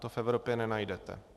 To v Evropě nenajdete.